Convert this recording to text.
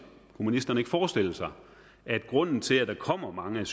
kunne ministeren ikke forestille sig at grunden til at der kommer mange